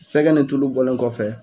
Sɛgɛ ni tulu bɔlen kɔfɛ.